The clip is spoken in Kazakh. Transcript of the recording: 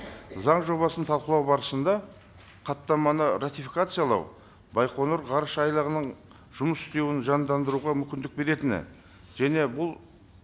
заң жобасын талқылау барысында хаттаманы ратификациялау байқоңыр ғарышайлағының жұмыс істеуін жандандыруға мүмкіндік беретіні және бұл